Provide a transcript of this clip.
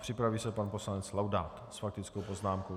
Připraví se pan poslanec Laudát s faktickou poznámkou.